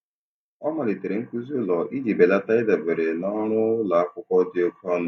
Ọ malitere nkuzi ụlọ iji belata ịdabere na ọrụ ụlọ akwụkwọ dị oke ọnụ.